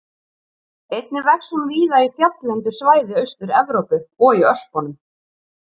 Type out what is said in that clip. Einnig vex hún víða í fjalllendu svæði Austur-Evrópu og í Ölpunum.